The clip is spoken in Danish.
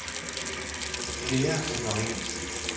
Peer Severinsen